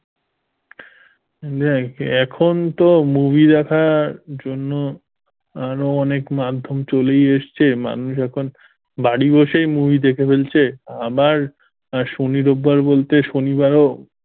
দেখ এখন তো movie দেখার জন্য আরো অনেক মাধ্যম চলেই এসেছেন মানুষ এখন বাড়ি বসে movie দেখে ফেলছে আবার শনি রোববার বলতে শনিবারও,